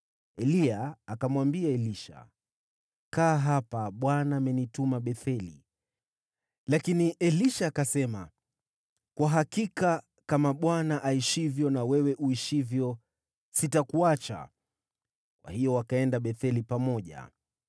Eliya akamwambia Elisha, “Kaa hapa. Bwana amenituma Betheli.” Lakini Elisha akasema, “Kwa hakika, kama Bwana aishivyo na wewe uishivyo, sitakuacha.” Kwa hiyo wakaenda Betheli pamoja.